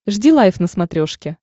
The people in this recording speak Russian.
жди лайв на смотрешке